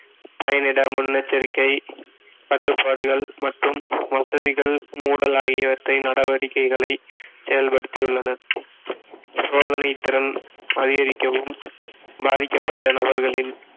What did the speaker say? பயனிட முன்னெச்சரிக்கை தட்டுப்பாடுகள் மற்றும் வசதிகள் மூடல் ஆகியவற்றை நடவடிக்கைகளை செயல்படுத்தியுள்ளனர் சோதனைத்திறன் அதிகரிக்கவும் பாதிக்கப்பட்ட நபர்களின்